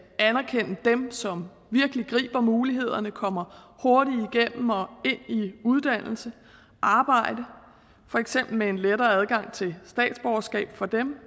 anerkende dem som virkelig griber mulighederne kommer hurtigt igennem og ind i uddannelse arbejde for eksempel med en lettere adgang til statsborgerskab for dem